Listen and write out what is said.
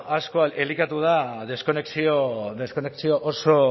asko elikatu da deskonexio oso